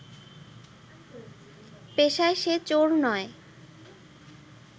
পেশায় সে চোর নয়